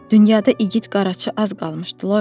Dünyada igid qaraçı az qalmışdı, Loyko.